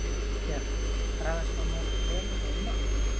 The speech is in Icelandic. Björn: Bragðast hann jafn vel og heima?